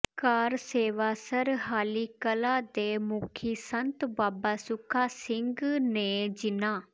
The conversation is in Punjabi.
ਕਾਰ ਸੇਵਾ ਸਰਹਾਲੀ ਕਲਾਂ ਦੇ ਮੁਖੀ ਸੰਤ ਬਾਬਾ ਸੁੱਖਾ ਸਿੰਘ ਨੇ ਜਿੰਨਾ